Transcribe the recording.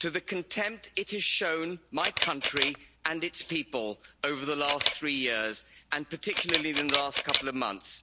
to the contempt it has shown my country and its people over the last three years, and particularly in the last couple of months.